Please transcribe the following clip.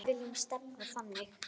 Við viljum stefna þangað.